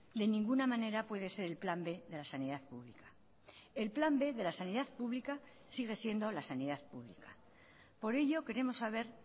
de ninguna manera puede ser el plan b de la sanidad pública el plan b de la sanidad pública sigue siendo la sanidad pública por ello queremos saber